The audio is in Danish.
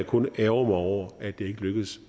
kun ærgre mig over at det ikke lykkedes